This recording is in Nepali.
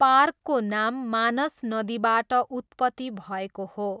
पार्कको नाम मानस नदीबाट उत्पत्ति भएको हो।